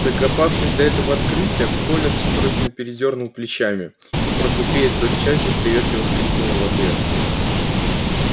докопавшись до этого открытия коля судорожно передёрнул плечами и портупея тотчас же приветливо скрипнула в ответ